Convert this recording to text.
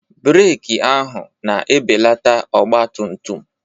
Breeki ahụ na-ebelata ọgbatumtum.